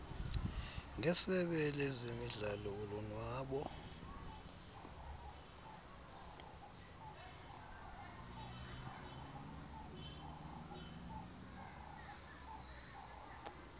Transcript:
ngesebe lezemidlalo ulonwabo